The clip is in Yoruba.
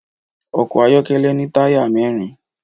Ọkọ́ ayọ́kọ́lẹ́ ní táyà mẹ́rin